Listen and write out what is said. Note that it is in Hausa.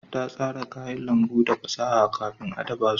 Ta sara kayan lambu da fasaha kafin ta dafa su